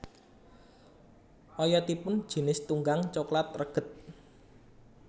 Oyotipun jinis tunggang coklat reged